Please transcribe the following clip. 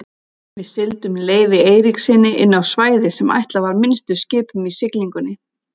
Við sigldum Leifi Eiríkssyni inná svæði sem ætlað var minnstu skipum í siglingunni.